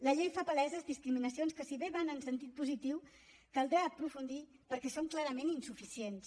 la llei fa paleses discriminacions que si bé van en sentit positiu caldrà aprofundir perquè són clarament insuficients